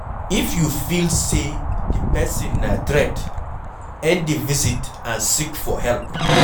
if you feel sey di person na threat, end di visit and seek for help